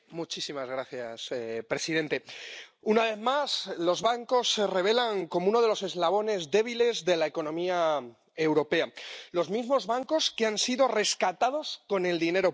Señor presidente, una vez más los bancos se revelan como uno de los eslabones débiles de la economía europea los mismos bancos que han sido rescatados con el dinero público